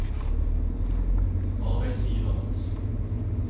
arbeidsgivernes